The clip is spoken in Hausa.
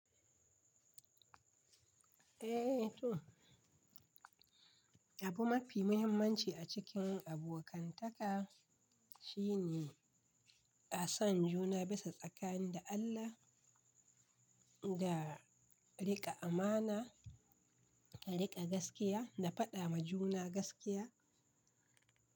Eh, toh. Abu mafi muhimmanci a cikin abokantaka shine a san juna bisa tsakani da Allah, da riƙa amana, da riƙa gaskiya, da faɗa ma juna gaskiya.